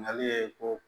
Nali ye ko